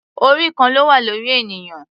Orí kan ló wà lórí ènìyàn.